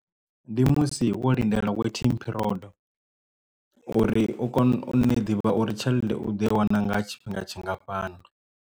Ndi musi wo lindela waiting period uri u kone u ne ḓivha uri tshelede u ḓo i wana nga tshifhinga tshingafhani.